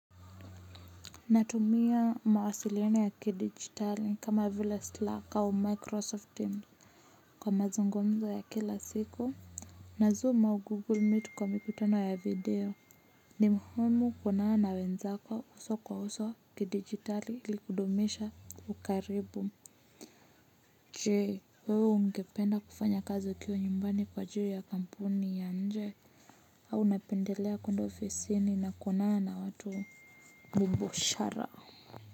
Natumia mawasiliano ya kidigitali kama vile Slack au Microsoft Teams kwa mazungumzo ya kila siku. Na Zoom au Google Meet kwa mikutano ya video. Ni muhimu kuonana na wenzako uso kwa uso kidigitali ili kudumisha ukaribu. Je, wewe ungependa kufanya kazi ukiwa nyumbani kwa ajili ya kampuni ya nje? Au unapendelea kuenda ofisini na kuonana na watu bomboshara.